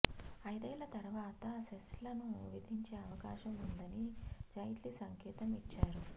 ఐదేళ్ల తర్వాత సెస్లను విధించే అవకాశం ఉందని జైట్లీ సంకేతం ఇచ్చారు